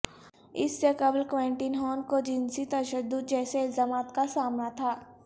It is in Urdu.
اس سے قبل کوینٹین ہان کو جنسی تشدد جیسے الزامات کا سامنا تھا